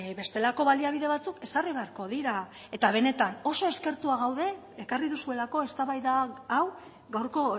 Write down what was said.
bestelako baliabide batzuk ezarri beharko dira eta benetan oso eskertuak gaude ekarri duzuelako eztabaida hau gaurko